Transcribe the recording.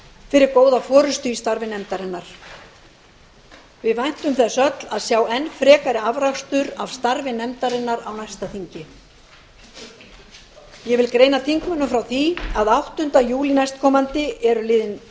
fyrir góða forustu í starfi nefndarinnar við væntum þess öll að sjá enn frekari afrakstur af starfi nefndarinnar á næsta þingi ég vil greina þingmönnum frá því að áttunda júlí næstkomandi eru liðin